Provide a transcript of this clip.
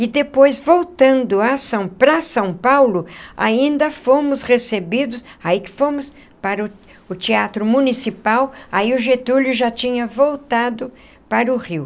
E depois, voltando a São para São Paulo, ainda fomos recebidos, aí fomos para o o Teatro Municipal, aí o Getúlio já tinha voltado para o Rio.